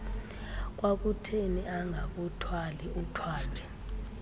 kwakutheni angakuthwali uthwalwe